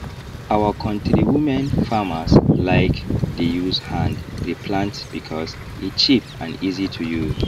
our knotri women farmers like dey use hand re plant because e cheap and easy to use